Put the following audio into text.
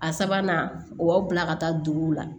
A sabanan o b'aw bila ka taa duguw la